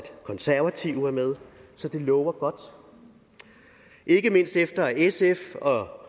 konservative med så det lover godt ikke mindst efter at sf og